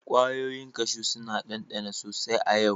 Kwayoyin kashu suna dandana sosai a yau.